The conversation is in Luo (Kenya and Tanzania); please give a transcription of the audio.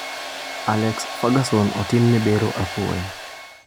Alex Ferguson otimne bero apoya